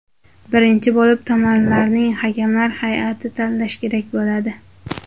Birinchi bo‘lib tomonlarning hakamlar hay’atini tanlash kerak bo‘ladi.